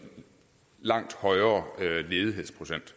langt højere ledighedsprocent